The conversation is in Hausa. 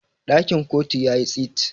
dakin kotu ya yi tsit